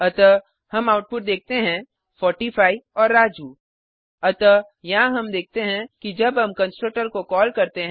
अतः हम आउटपुट देखते हैं 45 और राजू अतः यहाँ हम देखते हैं कि जब हम कंस्ट्रक्टर को कॉल करते हैं